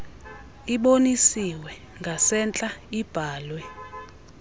ibonisiwe ngasentla ibhalwe